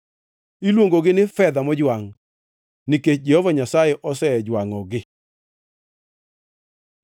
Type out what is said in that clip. Iluongogi ni fedha mojwangʼ, nikech Jehova Nyasaye osejwangʼogi.”